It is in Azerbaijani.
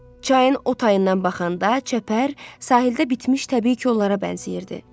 Çayın o tayından baxanda çəpər, sahildə bitmiş təbii kollara bənzəyirdi.